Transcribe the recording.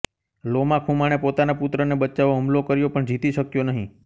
લોમા ખુમાણે પોતાના પુત્રને બચાવવા હુમલો કર્યો પણ જીતી શક્યો નહિ